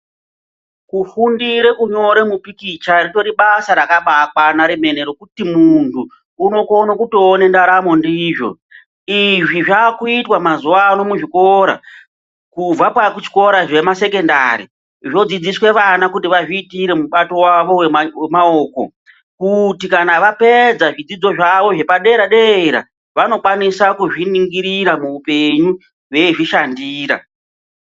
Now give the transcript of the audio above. Kufundire kunyore mupikicha ritori basa rakabakwana remene rekuti muntu unokone kutoone ndaramo ndizvo. Izvi zvakuitwa mazuva ano muzvikora kubva pazvikora zvemasekendari zvodzidziswe vana kuti vazviitire mubato vavo vemaoko. Kuti kana vapedza zvidzidzo zvavo zvepadera-dera vanokwanisa kuzviningirira muupenyu veizvishandira.